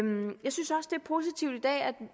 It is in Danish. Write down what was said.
positivt